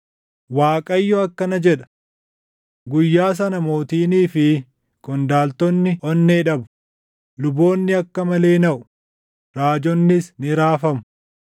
Waaqayyo akkana jedha: “Guyyaa sana mootiinii fi qondaaltonni onnee dhabu; luboonni akka malee naʼu; raajonnis ni raafamu.”